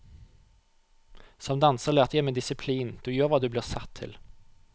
Som danser lærte jeg meg disiplin, du gjør hva du blir satt til.